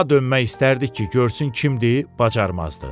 Ha dönmək istərdik ki, görsün kimdir, bacarmazdı.